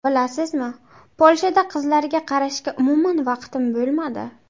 Bilasizmi, Polshada qizlarga qarashga umuman vaqtim bo‘lmadi.